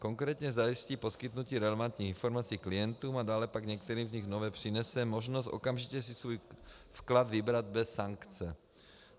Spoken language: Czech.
Konkrétně zajistí poskytnutí relevantních informací klientům a dále pak některým z nich nově přinese možnost okamžitě si svůj vklad vybrat bez sankce.